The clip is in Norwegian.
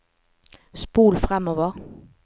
spol framover